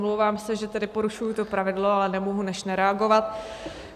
Omlouvám se, že tedy porušuji to pravidlo, ale nemohu než nereagovat.